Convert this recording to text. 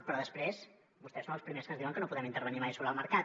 però després vostès són els primers que ens diuen que no podem intervenir mai sobre el mercat